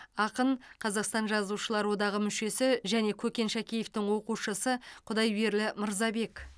ақын қазақстан жазушылар одағы мүшесі және көкен шәкеевтің оқушысы құдайберлі мырзабек